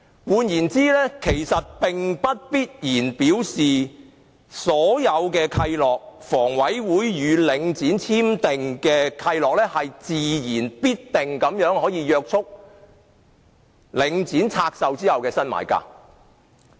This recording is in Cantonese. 換言之，其實並不必然表示所有契諾，如房委會與領展簽訂的契諾，自然必定約束領展拆售後的新買家。